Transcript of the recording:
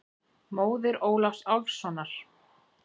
Móðir Ólafs Álfssonar.